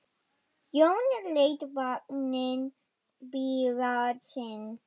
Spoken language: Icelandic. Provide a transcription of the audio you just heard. Jón lét vagninn bíða sín.